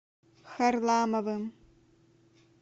харламовым